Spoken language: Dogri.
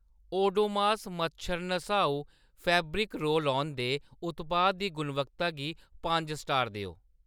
ओडोमोस मच्छर नसाऊ फैब्रिक रोल-ऑन दे उत्पाद दी गुणवत्ता गी पंज स्टार देओ